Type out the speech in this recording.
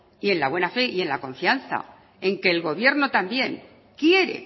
y en la buena fe y la confianza en que el gobierno también quiere